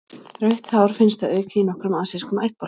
Rautt hár finnst að auki í nokkrum asískum ættbálkum.